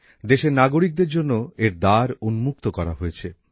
দেশের নাগরিকদের জন্য এর দ্বার উন্মুক্ত করা হয়েছে